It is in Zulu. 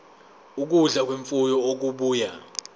ukudla kwemfuyo okubuya